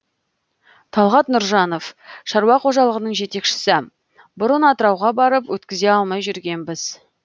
талғат нұржанов шаруа қожалығының жетекшісі бұрын атырауға барып өткізе алмай жүретінбіз